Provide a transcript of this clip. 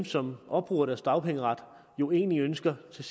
som opbruger deres dagpengeret jo egentlig ønsker til